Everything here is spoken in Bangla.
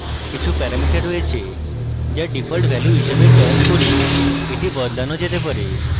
কিছু প্যারামিটার রয়েছে যা ডিফল্ট value হিসাবে চয়ন করি এই বদলানো যেতে পারে